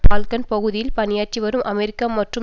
Balkan பகுதியில் பணியாற்றி வரும் அமெரிக்கா மற்றும்